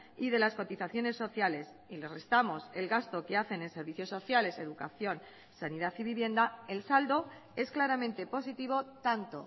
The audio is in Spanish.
y de las cotizaciones sociales y les restamos el gasto que hacen en servicios sociales educación sanidad y vivienda el saldo es claramente positivo tanto